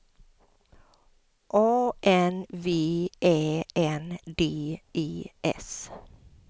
A N V Ä N D E S